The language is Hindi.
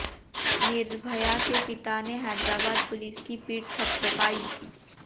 निर्भया के पिता ने हैदराबाद पुलिस की पीठ थपथपाई